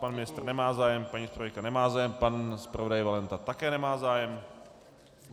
Pan ministr nemá zájem, paní zpravodajka nemá zájem, pan zpravodaj Valenta také nemá zájem.